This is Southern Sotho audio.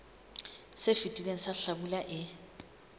se fetileng sa hlabula e